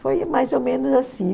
Foi mais ou menos assim.